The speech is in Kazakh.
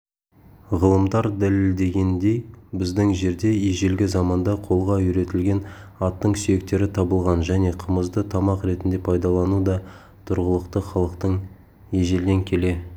ғалымдар дәлелдегендей біздің жерде ежелгі заманда қолға үйретілген аттың сүйектері табылған және қымызды тамақ ретінде пайдалану да тұрғылықты халықтың ежелден келе